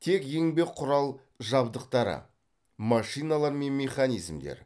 тек еңбек құрал жабдықтары машиналар мен механизмдер